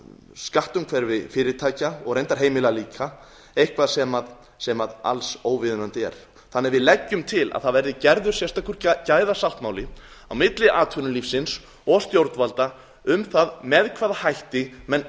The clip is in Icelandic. skattumhverfi fyrirtækja og reyndar heimila líka eitthvað sem alls óviðunandi er þannig að við leggjum til að gerður verði sérstakur gæðasáttmáli á milli atvinnulífsins og stjórnvalda um það með hvaða hætti menn